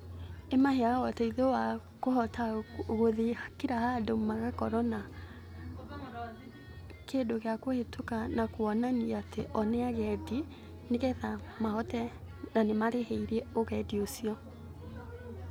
Ĩmaheaga ũteithio wa kũhota guthiĩ kira handũ, magakorwo na kĩndũ gĩa kũhĩtũka na kuonania atĩ o nĩ agendi, nĩ getha mahote na nĩ marĩhĩire ũgendi ũcio.